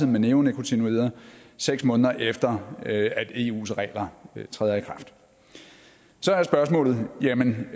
med neonikotinoider seks måneder efter at eus regler træder i kraft så er spørgsmålet jamen